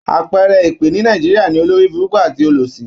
À̀pẹẹrẹ èpè ní Nàìjíríà ni, olóríburúkú àti olòṣì.